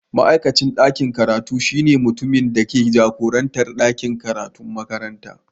Ma'aikacin dakin karatu shine mutumin da ke jagorantar ɗakin karatun makaranta.